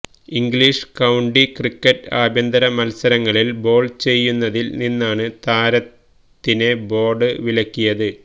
English county cricket ആഭ്യന്തര മത്സരങ്ങളിൽ ball ചെയ്യുന്നതിൽ നിന്നാണ് താരത്തിനെ ബോർഡ് വിലക്കിയത്